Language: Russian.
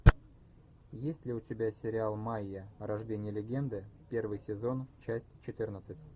есть ли у тебя сериал майя рождение легенды первый сезон часть четырнадцать